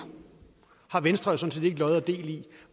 har venstre sådan set ikke lod og del i